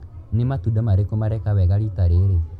Nĩ matunda marĩkũ mareka wega rita rĩrĩ.